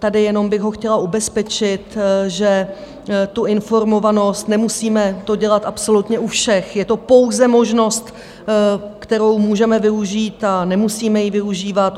Tady jenom bych ho chtěla ubezpečit, že tu informovanost nemusíme to dělat absolutně u všech, je to pouze možnost, kterou můžeme využít a nemusíme ji využívat.